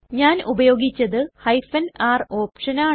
ഞാൻ ഉപയോഗിച്ചത് r ഓപ്ഷനാണ്